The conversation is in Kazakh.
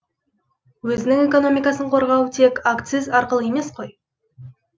өзінің экономикасын қорғау тек акциз арқылы емес қой